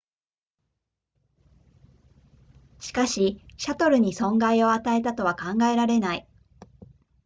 しかしシャトルに損害を与えたとは考えられない